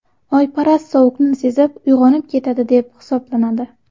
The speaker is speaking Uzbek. Oyparast sovuqni sezib, uyg‘onib ketadi deb hisoblanadi.